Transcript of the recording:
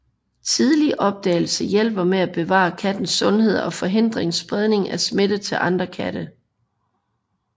Tidlig opdagelse hjælper med at bevare kattens sundhed og forhindrer spredning af smitte til andre katte